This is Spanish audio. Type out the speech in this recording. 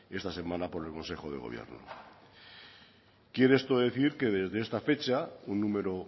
esta semana por el consejo de gobierno quiere esto decir que desde esta fecha un número